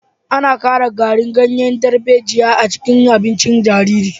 An ƙara garin ganyen darbejiya a cikin abincin jaririn